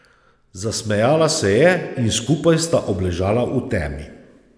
Zasmejala se je in skupaj sta obležala v temi.